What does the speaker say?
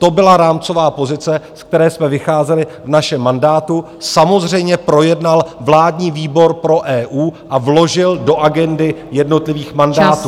To byla rámcová pozice, z které jsme vycházeli v našem mandátu, samozřejmě projednal vládní výbor pro EU a vložil do agendy jednotlivých mandátů.